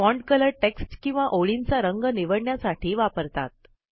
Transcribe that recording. font colour text किंवा ओळींचा रंग निवडण्यासाठी वापरतात